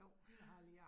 Ja